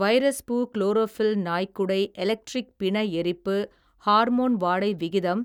வைரஸ்பூ chlorophyll நாய்க்குடை electric பிண எரிப்பு ஹார்மோன் வாடை விகிதம்